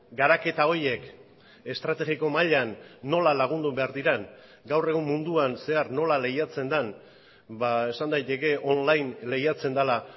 garaketa horiek estrategiko mailan nola lagundu behar diren gaur egun munduan zehar nola lehiatzen den esan daiteke online lehiatzen dela